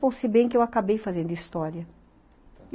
Bom, se bem que eu acabei fazendo história.